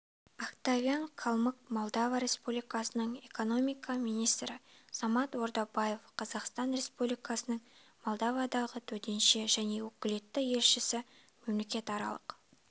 октавиан калмык молдова республикасының экономика министрі самат ордабаев қазақстан республикасының молдовадағы төтенше және өкілетті елшісі мемлекетаралық